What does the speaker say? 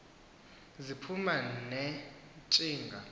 ziphuma ne ntshinga